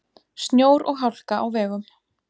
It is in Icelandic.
Snjór og hálka á vegum